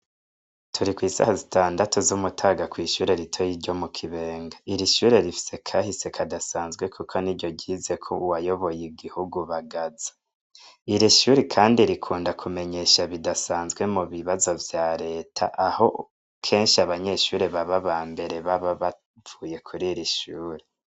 Turi kw'isaha zitandatu z'umutaga kw'ishure rito y' iryo mu kibenga iri shure rifise kahise kadasanzwe, kuko ni ryo ryizeko uwayoboye igihugu bagaza iri shuri, kandi rikunda kumenyesha bidasanzwe mu bibazo vya leta aho kenshi abanyeshure baba ba mbere baba bavuye kuri ra ishuri.